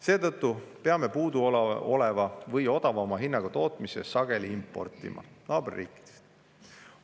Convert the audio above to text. Seetõttu peame puuduoleva või odavama hinnaga elektri sageli importima naaberriikidest.